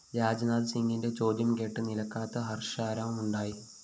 രാജ്‌നാഥ് സിംഗിന്റെ ചോദ്യം കേട്ട് നിലയ്ക്കാത്ത ഹര്‍ഷാരവമുണ്ടായി